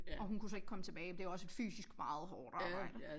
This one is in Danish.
Og hun kunne så ikke komme tilbage det er jo også et fysisk meget hårdt arbejde